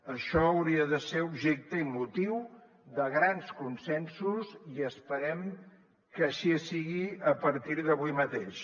això hauria de ser objecte i motiu de grans consensos i esperem que així sigui a partir d’avui mateix